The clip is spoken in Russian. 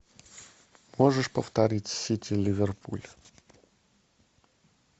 можешь повторить сити ливерпуль